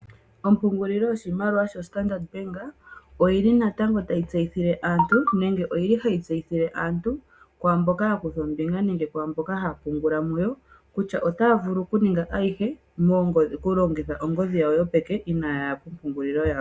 Ompungululilo yoshimaliwa yoStandard Bank oyi ili natango tayi tseyithile aantu nenge ohayi tseyithile aantu kwaa mboka kutha ombinga nenge haya pungula mu yo kutya otaa vulu okuninga ayihe taya longitha ongodhi yopeke inaaya ya kompungulilo yawo.